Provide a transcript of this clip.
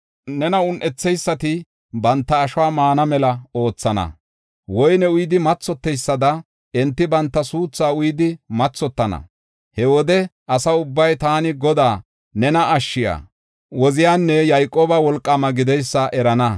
Nena un7etheysati banta ashuwa maana mela oothana; woyne uyidi mathoteysada enti banta suuthaa uyidi mathotana. He wode asa ubbay taani Godaa, nena Ashshiya, Woziyanne Yayqooba Wolqaamaa gideysa erana.